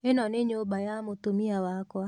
ĩno nĩ nyũmba ya mũtumia wakwa.